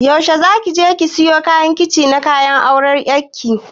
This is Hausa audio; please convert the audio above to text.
Yaushe za ki je siyo kayan kicin na auran ƴar ki?